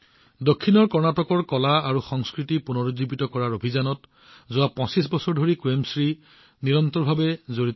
দক্ষিণত কৰ্ণাটকৰ কলাসংস্কৃতি পুনৰুজ্জীৱিত কৰাৰ অভিযানত যোৱা ২৫ বছৰ ধৰি কুৱেমশ্ৰী নিৰন্তৰভাৱে জড়িত হৈ আছে